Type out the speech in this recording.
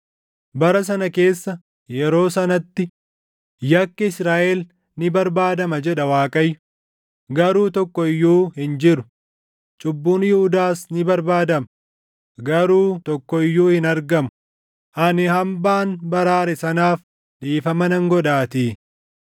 Bara sana keessa, yeroo sanatti, yakki Israaʼel ni barbaadama” jedha Waaqayyo; “garuu tokko iyyuu hin jiru; cubbuun Yihuudaas ni barbaadama; garuu tokko iyyuu hin argamu; ani hambaan baraare sanaaf dhiifama nan godhaatii.